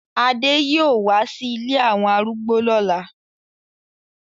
Ade yoo wa si ìlé awọn arúgbó lola